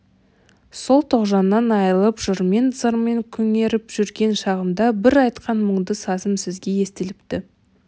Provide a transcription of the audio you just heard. сол тоғжаннан айрылып жырмен зармен күңреніп жүрген шағымда бір айтқан мұңды сазым сізге естіліпті